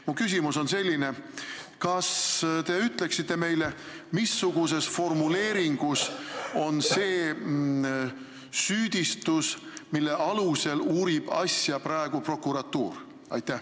Mu küsimus on selline: kas te ütleksite meile, missuguses formuleeringus on see süüdistus, mille alusel uurib asja praegu prokuratuur?